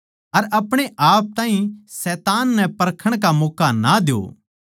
अर अपणे आप ताहीं शैतान नै परखण का मौक्का ना द्यो